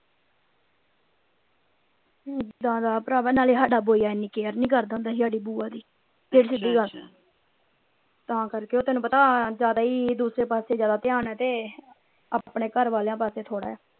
ਏਦਾਂ ਦਾ ਪ੍ਰਵਾ ਨਾਲੀ ਸਦਾ ਬੁਯਾ ਏਨੀ ਕੇਅਰ ਨਾਈ ਕਰਦਾ ਹੁੰਦਾ ਸੀ ਸਾਡੀ ਬੁਆ ਦੀ ਫੇਰ ਸਿਧਿ ਗਲ ਤਾਂ ਕਰ ਕੇ ਤਾਣੁ ਪਤਾ ਜਿਆਦਾ ਈ ਦੂਸਰੇ ਪਾਸੇ ਜਿਆਦਾ ਧਿਆਨ ਆ ਤੇ ਆਪਣੇ ਘਰ ਵਾਲੀਆਂ ਪਾਸੇ ਥੋੜਾ ਆ।